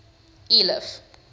eliff